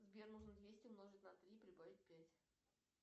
сбер нужно двести умножить на три и прибавить пять